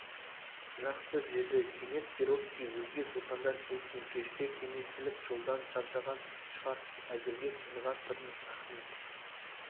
жақсы деді кенет перовский өзге сұлтандар келсін кешке кеңеселік жолдан шаршаған шығарсыз әзірге тыныға тұрыңыз ахмет